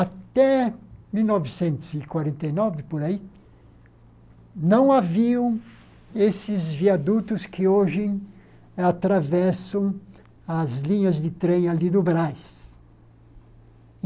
Até mil novecentos e quarenta e nove, por aí, não haviam esses viadutos que hoje atravessam as linhas de trem ali do Brás.